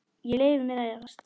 Ég leyfi mér að efast.